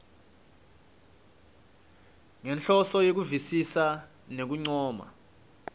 ngenhloso yekuvisisa nekuncoma